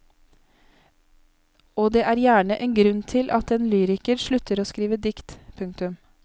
Og det er gjerne en grunn til at en lyriker slutter å skrive dikt. punktum